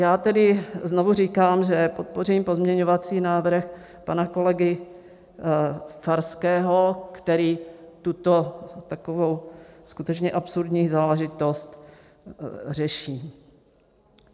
Já tedy znovu říkám, že podpořím pozměňovací návrh pana kolegy Farského, který tuto takovou skutečně absurdní záležitost řeší.